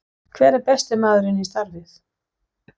Hver er besti maðurinn í starfið?